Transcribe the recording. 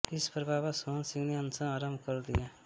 इस पर बाबा सोहन सिंह ने अनशन आरम्भ कर दिया